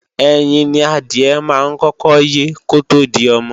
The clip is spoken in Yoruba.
Ẹyin ni adìẹ máa ń kọ́kọ́ yé kótó di ọmọ